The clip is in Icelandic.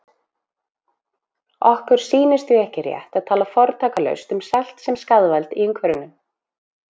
Okkur sýnist því ekki rétt að tala fortakslaust um salt sem skaðvald í umhverfinu.